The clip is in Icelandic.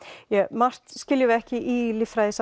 margt skiljum við ekki í líffræðinni